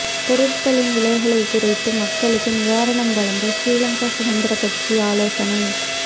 பொருட்களின் விலைகளை குறைத்து மக்களுக்கு நிவாரணம் வழங்க ஸ்ரீலங்கா சுதந்திரக்கட்சி ஆலோசனை